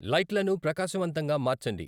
లైట్లను ప్రకాశవంతంగా మార్చండి